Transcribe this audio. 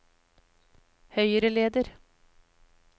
høyreleder